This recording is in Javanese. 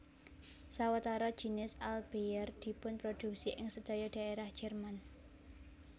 Sawetara jinis Altbier dipunproduksi ing sedaya daerah Jerman